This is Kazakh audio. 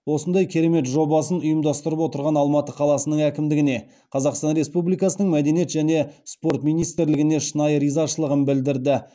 осындай керемет добасын ұйымдастырып отырған алматы қаласының әкімдігіне қазақстан республикасының мәдениет және спорт министрлігіне шынайы ризашылығын білдірді